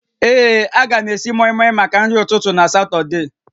Ee, a ga m esi mọịmọị maka nri ụtụtụ na Satọde